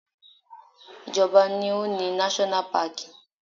Ìjọba ni ó ni náṣọ́nà paàkì